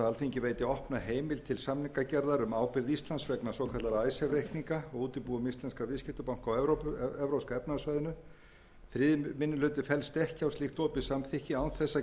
alþingi veiti opna heimild til samningagerðar um ábyrgð íslands vegna svokallaðra icesave reikninga í útibúum íslenskra viðskiptabanka á evrópska efnahagssvæðinu þriðji minni hluti fellst ekki á slíkt opið samþykki án þess